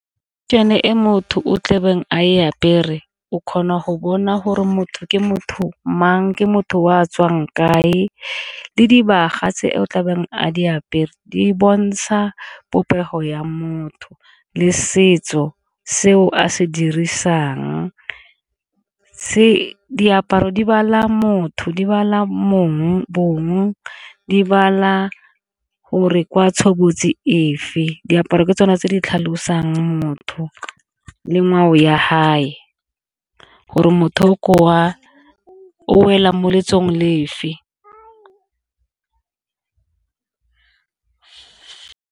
Ke yone e motho o tlabeng a e apere o kgona go bona gore motho ke motho mang, ke motho o a tswang kae, le dibaga tse o tlabeng a di apere di bontsha popego ya motho le setso seo a se dirisang se diaparo di motho di bong di gore ke wa tshobotsi efe, diaparo ke tsone tse di tlhalosang motho le ngwao ya gore motho o welang mo letsong le fe.